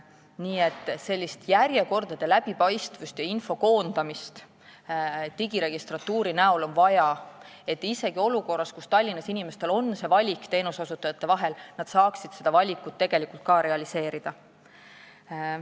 Nii et järjekordade läbipaistvust ja info koondamist digiregistratuuri on vaja, et inimesed isegi olukorras, kui neil on näiteks Tallinnas võimalik valida teenuseosutajate vahel, saaksid seda valikut tegelikult ka realiseerida.